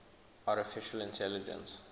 artificial intelligence